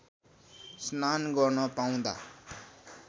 स्नान गर्न पाउँदा